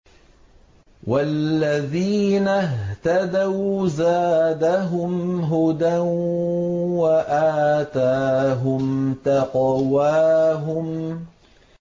وَالَّذِينَ اهْتَدَوْا زَادَهُمْ هُدًى وَآتَاهُمْ تَقْوَاهُمْ